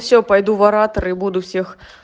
все пойду в ораторы и буду всех